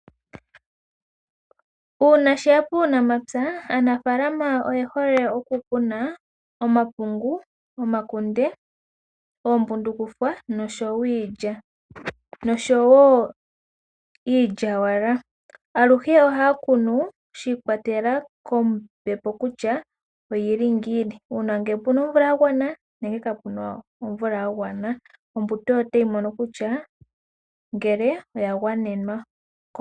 Uuna sheya puunamapya aanafalama oye hole okukuna omapungu ,omakunde oombundukufwa noshowo iilya noshowo iilyawala aluhe ohaya kunu shi kwatelela kombepo kutya oyili ngiini uuna ngele opuna omvula ya gwana nenge kapuna omvula ya gwana ombuto oyo tayi mono kutya ngele oya gwanenwa.